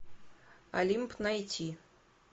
олимп найти